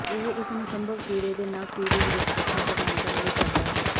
ਇਹ ਇਸ ਨੂੰ ਸੰਭਵ ਕੀੜੇ ਦੇ ਨਵ ਪੀੜ੍ਹੀ ਵਿਰੁੱਧ ਸੁਰੱਖਿਆ ਪ੍ਰਦਾਨ ਕਰਨ ਲਈ ਕਰਦਾ ਹੈ